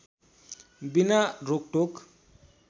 बिना रोकटोक